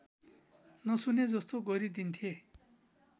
नसुने जस्तो गरिदिन्थे